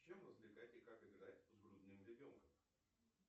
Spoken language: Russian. чем развлекать и как играть с грудным ребенком